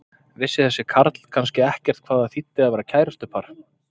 Vissi þessi karl kannski ekkert hvað það þýddi að vera kærustupar?